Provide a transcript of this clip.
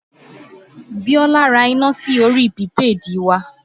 Biola ra iná sí orí pìpéèdì wa